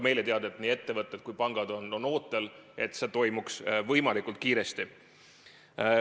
Meile on teada, et nii ettevõtted kui ka pangad on ootel, et see toimuks võimalikult kiiresti.